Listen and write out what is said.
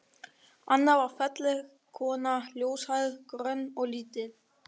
Anna var falleg kona, ljóshærð, grönn og lítil.